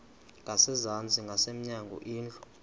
ngasezantsi ngasemnyango indlu